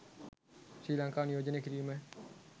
ශ්‍රී ලංකාව නියෝජනය කිරීම